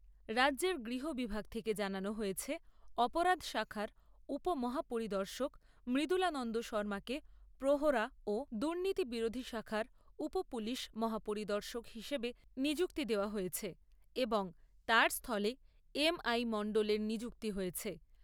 রাজ্যের গৃহ বিভাগ থেকে জানানো হয়েছে অপরাধ শাখার উপ মহাপরিদর্শক মৃদুলানন্দ শর্মাকে প্রহরা ও দূর্নীতি বিরোধী শাখার উপ পুলিশ মহাপরিদর্শক হিসেবে নিযুক্তি দেওয়া হয়েছে এবং তার স্থলে এম আই মণ্ডলের নিযুক্তি হয়েছে।